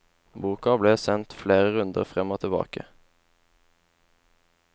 Boken ble sendt flere runder frem og tilbake.